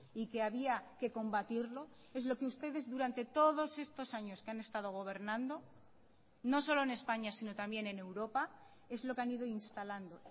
y que había que combatirlo es lo que ustedes durante todos estos años que han estado gobernando no solo en españa sino también en europa es lo que han ido instalando